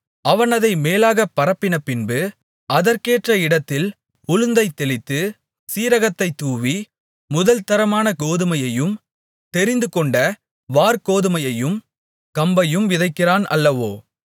அவன் அதை மேலாக பரப்பினபின்பு அதற்கேற்ற இடத்தில் உளுந்தைத் தெளித்து சீரகத்தைத் தூவி முதல்தரமான கோதுமையையும் தெரிந்துகொண்ட வாற்கோதுமையையும் கம்பையும் விதைக்கிறான் அல்லவோ